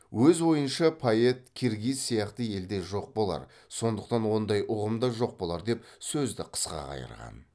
өз ойынша поэт киргиз сияқты елде жоқ болар сондықтан ондай ұғым да жоқ болар деп сөзді қысқа қайырған